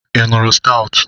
Ị ṅụrụ stoutu?